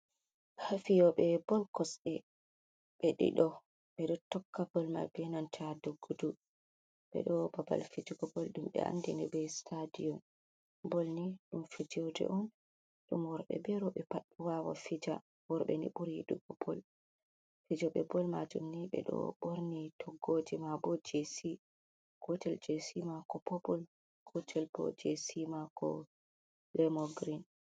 Hafiyoɓe bol kosɗe ɓe dido ɓeɗo tokka bolmai benanta doggudu ɓeɗo babal fijugo bol ɗum ɓe andini be stadiom, bolny ɗum fijerde on ɗum worɓe be roɓɓe pad wawan fija, worbe ni ɓuri yiɗugo bol fijoɓe bol majum ni ɓedo ɓorni toggoje ma bo jc gotel jc mako popul gotel bo jcma ko lemo green.